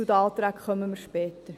Zu den Anträgen kommen wir später.